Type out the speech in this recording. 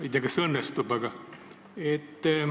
Ei tea, kas õnnestub.